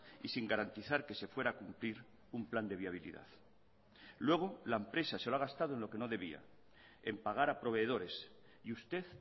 y sin garantizar que se fuera a cumplir un plan de viabilidad luego la empresa se lo ha gastado en lo que no debía en pagar a proveedores y usted